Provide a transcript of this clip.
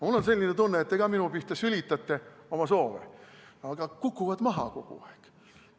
Mul on selline tunne, et teie sülitate ka minu pihta oma soove, aga need kukuvad kogu aeg maha.